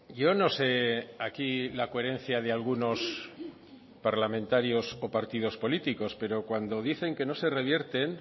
yo no sé aquí la coherencia de algunos parlamentarios o partidos políticos pero cuando dicen que no se revierten